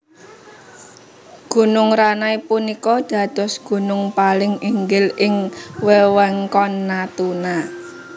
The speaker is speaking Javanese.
Gunung Ranai punika dados gunung paling inggil ing wewengkon Natuna